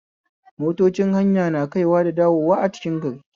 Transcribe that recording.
Motocin hanya na kaiwa da dawowa a cikin gari